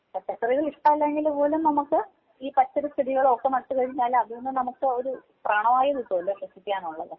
പച്ചക്കറികള് ഇഷ്ട്ടമല്ലെങ്കിൽ പോലും നമുക്ക് ഈ പച്ചില ചെടികളോ ഒക്കെ നട്ടുകഴിഞ്ഞാല് അതിൽ നിന്നും നമുക്ക് ഒരു പ്രാണവായു കിട്ടുവല്ലോ ശ്വസിക്കാനുള്ളത്.